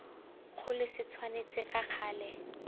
kgolo se tshwanetse ka gale